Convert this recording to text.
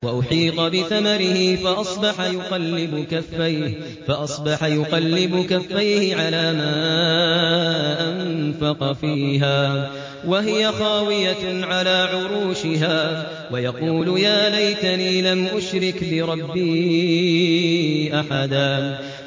وَأُحِيطَ بِثَمَرِهِ فَأَصْبَحَ يُقَلِّبُ كَفَّيْهِ عَلَىٰ مَا أَنفَقَ فِيهَا وَهِيَ خَاوِيَةٌ عَلَىٰ عُرُوشِهَا وَيَقُولُ يَا لَيْتَنِي لَمْ أُشْرِكْ بِرَبِّي أَحَدًا